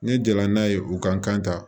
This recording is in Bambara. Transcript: Ne jɛla n'a ye u ka kan ta